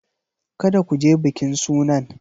Kada ku je bikin sunan!